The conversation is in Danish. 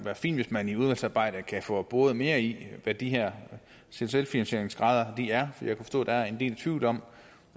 fint hvis man i udvalgsarbejdet kan få boret mere i hvad de her selvfinansieringsgrader er for jeg kan forstå at der er en del tvivl om